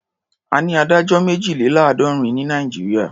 A ní adájọ́ méjìléláàádọ́rin ní Nàìjíríà.